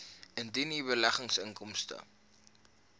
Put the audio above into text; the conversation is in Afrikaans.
indien u beleggingsinkomste